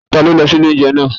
Ta ló lọ sí ilé óúnjẹ naa?